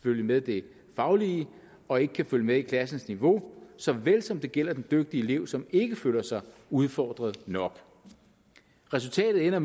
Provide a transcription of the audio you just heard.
følge med i det faglige og ikke kan følge med i klassens niveau såvel som det gælder den dygtige elev som ikke føler sig udfordret nok resultatet er